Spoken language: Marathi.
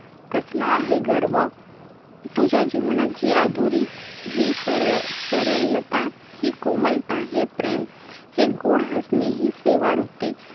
कसला आहे गर्व? तुझ्या जीवनात ही माधुरी, ही सरल अं सरलता, ही कोमलता, हे प्रेम, हे गोड हसणे, ही सेवावृत्ती,